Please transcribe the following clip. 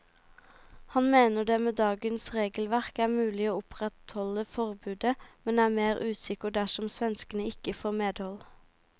Han mener det med dagens regelverk er mulig å opprettholde forbudet, men er mer usikker dersom svenskene ikke får medhold.